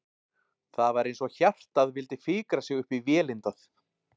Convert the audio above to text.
Það var eins og hjartað vildi fikra sig upp í vélindað.